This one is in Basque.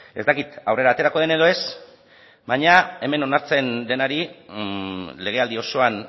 ez dakit aurrera aterako den edo ez baina hemen onartzen denari legealdi osoan